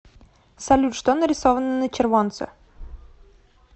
салют что нарисовано на червонце